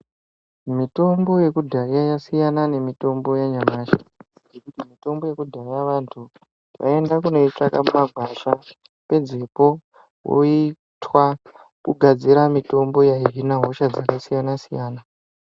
Mitombo yekudhaya yasiyana nemitombo yanyamashi ngekuti mitombo yekudhaya vantu vaienda kunoitsvaka mumagwasha pedzepo voitwa kugadzira mitombo yaihina hosha dzakasiyana-siyana.